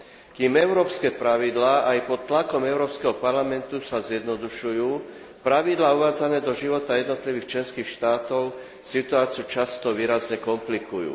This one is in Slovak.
Kým európske pravidlá aj pod tlakom Európskeho parlamentu sa zjednodušujú, pravidlá uvádzané do života jednotlivých členských štátov situáciu často výrazne komplikujú.